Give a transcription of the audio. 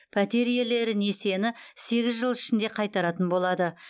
пәтер иелері несиені сегіз жыл ішінде қайтаратын болады